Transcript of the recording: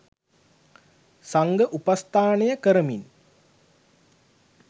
සංඝ උපස්ථානය කරමින්